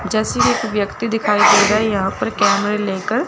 जैसेकी एक व्यक्ति दिखाई दे रहा है यहां पर कैमरे लेकर।